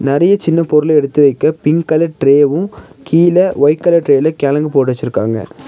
நெறய சின்ன பொருள் எடுத்து வைக்க பிங்க் கலர் ட்ரேவு கீழ ஒயிட் கலர் ட்ரேல கெளங்கு போட்டு வெச்சுருக்காங்க.